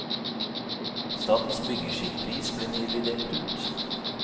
Statens byggeskikkpris ble nylig delt ut.